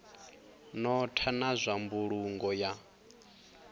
notha na zwa mbulungo ya